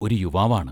ഒരു യുവാവാണ്.